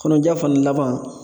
Kɔnɔja fana laban